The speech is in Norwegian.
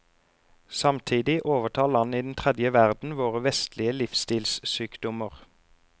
Samtidig overtar land i den tredje verden våre vestlige livsstilssykdommer.